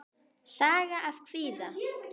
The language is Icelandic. Saga af kvíða.